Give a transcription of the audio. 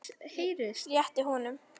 Réttir honum.